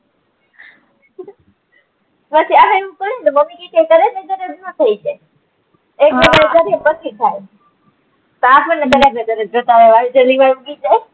બાકી આ હેર ઉપર હે ને મમ્મી કે કે થઇ જાય એક બે દિવસ કરીએ પછી થાય વાળ જલ્દી વાર ઉગી જાય